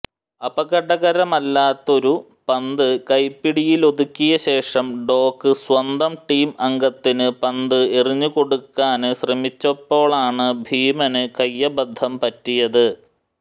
അപകടകരമല്ലാത്തൊരു പന്ത് കൈപ്പിടിയിലൊതുക്കിയശേഷം ഡോക്ക് സ്വന്തം ടീം അംഗത്തിന് പന്ത് എറിഞ്ഞുകൊടുക്കാന് ശ്രമിച്ചപ്പോഴാണ് ഭീമന് കൈയബദ്ധം പറ്റിയത്